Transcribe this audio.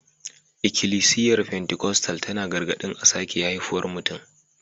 Ikilisiyar Pentikostal tana gargaɗin a sake haifuwar mutum